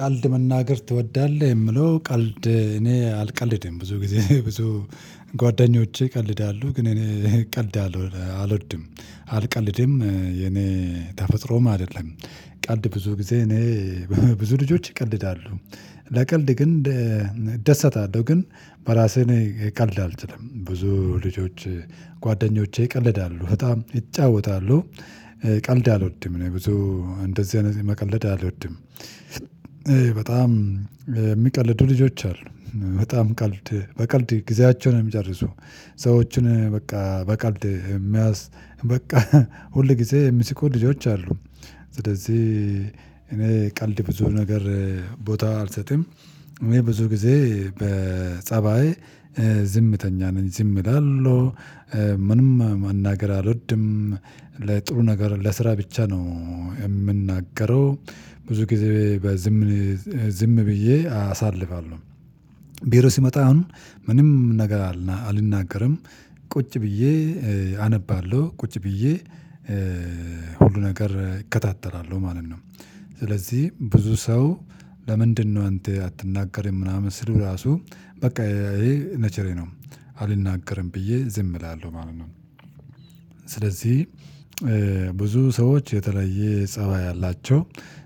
ቀልድ መናገር ትወዳለህ የምለው ቀልድ እኔ አልቀልድም ብዙ ጊዜ ብዙ ጓደኞቼ ይቀልዳሉ ግን እኔ ቀልድ አለሁ አልወድም አልቀልድም የኔ ተፈጥሮም አይደለም። ቀልድ ብዙ ጊዜ እኔ ብዙ ልጆች ይቀልዳሉ። ለቀልድ ግን እደሰታለሁ ግን በራስህ እኔ ቀልድ አልችልም ብዙ ልጆች ጓደኞቼ ይቀልዳሉ በጣም ይጫወታሉ ቀልድ አልወድም እኔ ብዙ እንደዚህ አይነት መቀለድ አልወድም። በጣም የሚቀልዱ ልጆች አሉ በጣም ቀልድ በቀልድ ጊዜያቸውን ነው የሚጨርሱ። ሰዎችን በቃ በቀልድ የሚያስ በቃ ሁል ጊዜ የሚስቁ ልጆች አሉ። ስለዚህ እኔ ቀልድ ብዙ ነገር ቦታ አልሰጥም እኔ ብዙ ጊዜ በጸባይ ዝምተኛ ነኝ ዝም እላለሁ ምንም መናገር አልወድም። ለጥሩ ነገር ለስራ ብቻ ነው የምናገረው። ብዙ ጊዜ በዝም ዝም ብዬ አሳልፋለሁ። ቢሮ ሲመጣ አሁን ምንም ነገር አልናገርም። ቁጭ ብዬ አነባለሁ ቁጭ ብዬ ሁሉ ነገር እከታተላለሁ ማለት ነው። ስለዚህ ብዙ ሰው ለምንድነው አንተ አትናገርም ምናምን ሲሉኝ ራሱ በቃ ይሄ ኔቸሬ ነው። አልናገርም ብዬ ዝም እላለሁ ማለት ነው። ስለዚህ ብዙ ሰዎች የተለየ ፀባይ አላቸው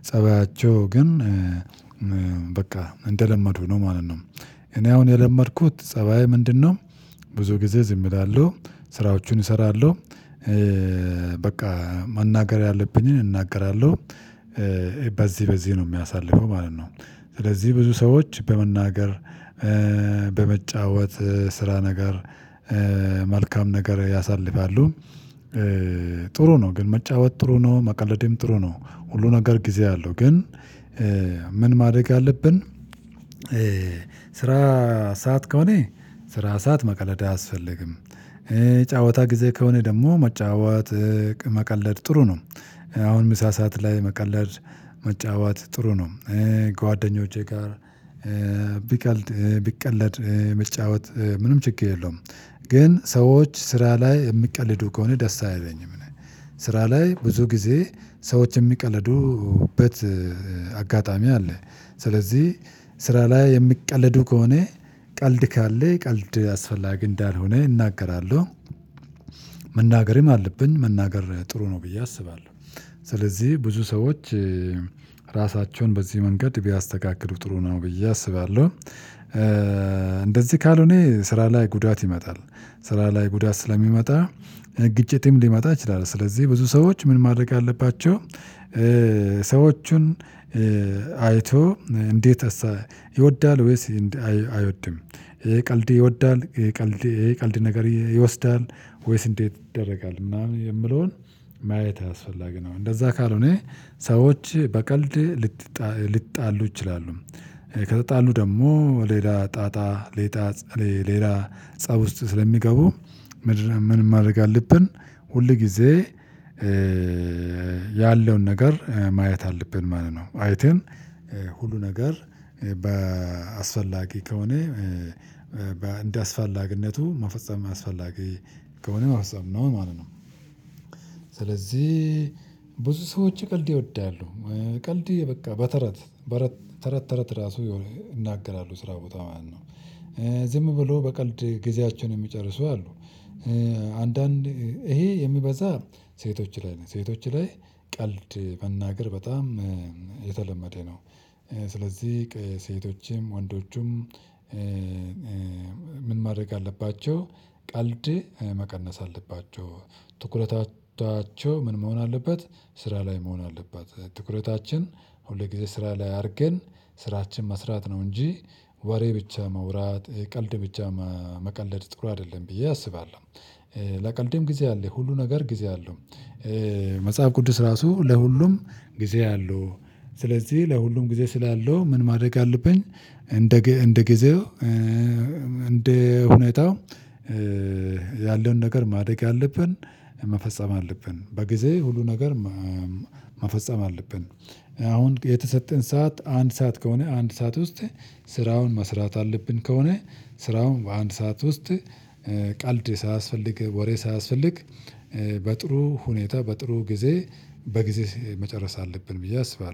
ፀባያቸው ግን በቃ እንደለመዱ ነው ማለት ነው። እኔ አሁን የለመድኩት ፀባዬ ምንድነው? ብዙ ጊዜ ዝም እላለሁ ስራዎቹን እሰራለሁ። በቃ መናገር ያለብኝን እናገራለሁ በዚህ በዚህ ነው የሚያሳልፈው ማለት ነው። ስለዚህ ብዙ ሰዎች በመናገር በመጫወት ስራ ነገር መልካም ነገር ያሳልፋሉ። ጥሩ ነው ግን መጫወት ጥሩ ነው መቀለዴም ጥሩ ነው። ሁሉ ነገር ጊዜ አለው ግን ምን ማደግ አለብን? ስራ ሳት ከሆነ ስራ ሳት መቀለድ አያስፈልግም። ጫወታ ጊዜ ከሆነ ደግሞ መጫወት መቀለድ ጥሩ ነው። አሁን ምሳ ሰዓት ላይ መቀለድ መጫወት ጥሩ ነው። ጓደኞቼ ጋር ቢቀለድ ብጫወት ምንም ችግር የለውም። ግን ሰዎች ስራ ላይ የሚቀልዱ ከሆነ ደስ አይለኝም እኔ ስራ ላይ ብዙ ጊዜ ሰዎች የሚቀልዱበት አጋጣሚ አለ ስለዚህ ስራ ላይ የሚቀለዱ ከሆነ ቀልድ ካለ ቀልድ አስፈላጊ እንዳልሆነ እናገራለሁ። መናገርም አለብን መናገር ጥሩ ነው ብዬ አስባለሁ። ስለዚህ ብዙ ሰዎች ራሳቸውን በዚህ መንገድ ቢያስተካክሉ ጥሩ ነው ብዬ አስባለሁ። እንደዚህ ካልሆነ ስራ ላይ ጉዳት ይመጣል። ስራ ላይ ጉዳት ስለሚመጣ ግጭትም ሊመጣ ይችላል ስለዚህ ብዙ ሰዎች ምን ማድረግ አለባቸው? ሰዎቹን አይቶ እንዴት ይወዳል ወይስ አይወድም ቀልድ ይወዳል ቀልድ ይሄ ቀልድ ነገር ይወስዳል ወይስ እንዴት ይደረጋል ምናምን የምለውን ማየት አስፈላጊ ነው እንደዛ ካልሆነ ሰዎች በቀልድ ልትጣሉ ሊጣሉ ይችላሉ። ከተጣሉ ደግሞ ሌላ ጣጣ ሌላ ፀብ ውስጥ ስለሚገቡ ምንም ማድረግ አለብን። ሁል ጊዜ ያለውን ነገር ማየት አለብን ማለት ነው። አይተን ሁሉ ነገር በአስፈላጊ ከሆነ እንደ አስፈላጊነቱ ማፈጸም አስፈላጊ ከሆነ ማፈጸም ነው ማለት ነው። ስለዚህ ብዙ ሰዎች ቀልድ ይወዳሉ ቀልድ በቃ በተረት በተረት ተረት ራሱ ይናገራሉ ስራ ቦታ ማለት ነው። ዝም ብሎ በቀልድ ጊዜያቸውን የሚጨርሱ አሉ። አንዳንድ ይሄ የሚበዛ ሴቶች ላይ ነው ሴቶች ላይ ቀልድ መናገር በጣም የተለመደ ነው። ስለዚህ ከሴቶችም ወንዶቹም ምን ማድረግ አለባቸው? ቀልድ መቀነስ አለባቸው። ትኩረታቸው ምን መሆን አለበት? ስራ ላይ መሆን አለበት ትኩረታችን ሁልጊዜ ስራ ላይ አድርገን ስራችን መስራት ነው እንጂ ወሬ ብቻ ማውራት ቀልድ ብቻ መቀለድ ጥሩ አይደለም ብዬ አስባለሁ። ለቀልዴም ጊዜ አለ ሁሉ ነገር ጊዜ አለው። መጽሐፍ ቅዱስ ራሱ ለሁሉም ጊዜ አለው። ስለዚህ ለሁሉም ጊዜ ስላለው ምን ማድረግ አለብኝ? እንደ እንደ ጊዜው እንደ ሁኔታው ያለውን ነገር ማድረግ አለብን። መፈጸም አለብን በጊዜ ሁሉ ነገር መፈጸም አለብን። አሁን የተሰጠን ሰዓት አንድ ሰዓት ከሆነ አንድ ሰዓት ውስጥ ስራውን መስራት አለብን ከሆነ ስራውን በአንድ ሰዓት ውስጥ ቀልድ ሳያስፈልግ ወሬ ሳያስፈልግ በጥሩ ሁኔታ በጥሩ ጊዜ በጊዜ መጨረስ አለብን ብዬ አስባለሁ